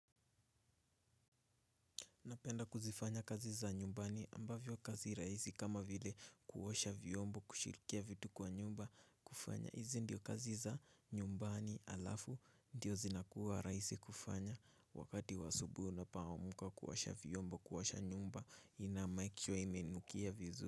Napenda kuzifanya kazi za nyumbani ambavyo kazi raisi kama vile kuoasha vyombo kushirikia vitu kwa nyumba kufanya. Hizi ndiyo kazi za nyumbani alafu ndiyo zinakuwa raisi kufanya wakati wa asubui unapoamka kuoasha vyombo kuosha nyumba inamaikishwa imenukia vizu.